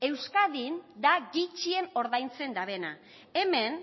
euskadin da gutxien ordaintzen dabena hemen